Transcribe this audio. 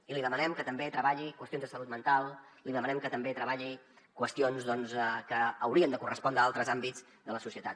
i li demanem que també treballi qüestions de salut mental li demanem que també treballi qüestions doncs que haurien de correspondre a altres àmbits de la societat